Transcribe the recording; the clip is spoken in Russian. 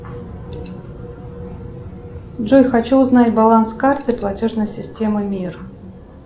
джой хочу узнать баланс карты платежной системы мир